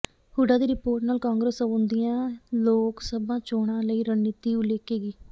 ਹੁੱਡਾ ਦੀ ਰਿਪੋਰਟ ਨਾਲ ਕਾਂਗਰਸ ਆਉਂਦੀਆਂ ਲੋਕ ਸਭਾ ਚੋਣਾਂ ਲਈ ਰਣਨੀਤੀ ਉਲੀਕੇਗੀ